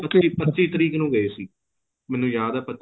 ਕਿਹੜੀ ਪੱਚੀ ਤਰੀਕ ਨੂੰ ਗਏ ਸੀ ਮੈਨੂੰ ਯਾਦ ਏ